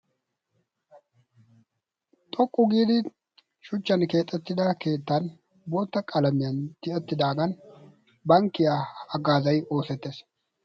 xoqqu giidi shuchchan keexettida keettan bootta qalamiyan tiyettidaagan bankkiyaa aggaazay oosettees.